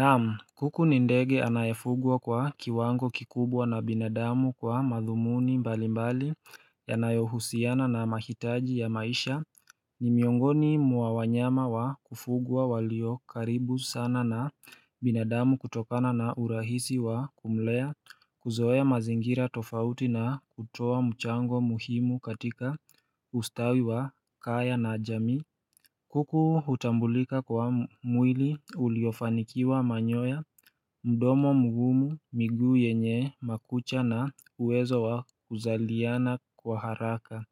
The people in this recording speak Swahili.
Naam kuku ni ndege anayefugwa kwa kiwango kikubwa na binadamu, kwa madhumuni mbalimbali yanayohusiana na mahitaji ya maisha ni miongoni mwa wanyama wa kufugwa walio karibu sana na binadamu kutokana na urahisi wa kumlea, kuzoea mazingira tofauti na kutoa mchango muhimu katika ustawi wa kaya na jamii kuku hutambulika kwa mwili uliofanikiwa manyoya, mdomo mgumu, miguu yenye makucha na uwezo wa kuzaaliana kwa haraka